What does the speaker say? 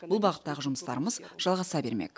бұл бағыттағы жұмыстарымыз жалғаса бермек